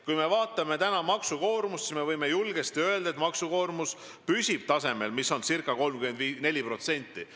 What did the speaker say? Kui me vaatame maksukoormust, siis võime julgesti öelda, et maksukoormus püsib ca 34% tasemel.